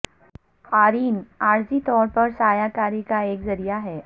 قارئین عارضی طور پر سایہ کاری کا ایک ذریعہ ہے